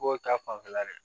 Ko ta fanfɛla dɛ